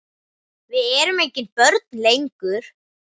Við erum engin börn lengur.